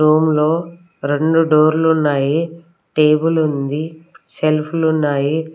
Room లో రెండు డోర్లు ఉన్నాయ టేబుల్ ఉంది షెల్ఫులు ఉన్నాయి.